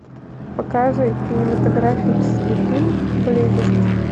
показывай кинематографический фильм близость